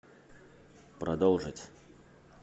продолжить